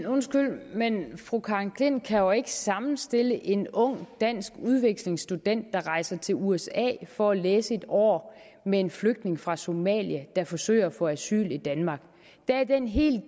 undskyld men fru karen klint kan jo ikke sammenstille en ung dansk udvekslingsstudent der rejser til usa for at læse et år med en flygtning fra somalia der forsøger at få asyl i danmark der er den helt